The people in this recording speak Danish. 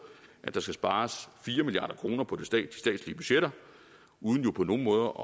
at der skal spares fire milliard kroner på de statslige budgetter uden jo på nogen måde